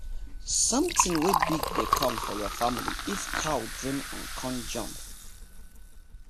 sonthing wey big dey com your family if your cow dream con jump